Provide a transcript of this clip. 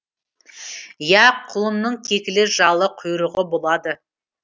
иә құлынның кекілі жалы құйрығы болады